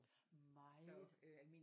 Meget